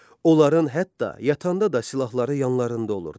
Onların hətta yatanda da silahları yanlarında olurdu.